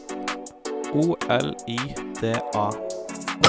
O L I D A